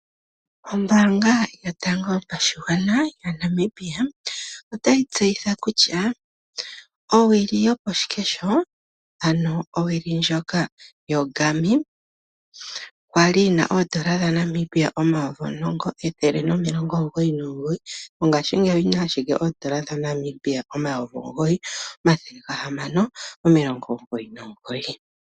Ombaanga yotango yopashigwana moNamibia otayi tseyitha kutya owili yokoshikesho, ano owuli ndjoka yoGarmin. Okwali yi na N$10199, mongashingeyi oyi na ashike N$9699.